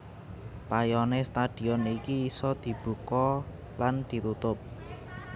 Payone stadion iki isa dibuka lan ditutup